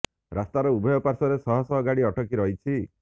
ରାସ୍ତାର ଉଭୟ ପାର୍ଶ୍ବରେ ଶହ ଶହ ଗାଡି ଅଟକି ରହିଛି